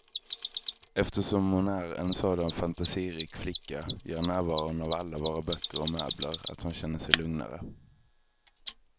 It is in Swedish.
Eftersom hon är en sådan fantasirik flicka gör närvaron av alla våra böcker och möbler att hon känner sig lugnare.